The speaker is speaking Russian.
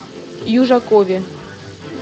южакове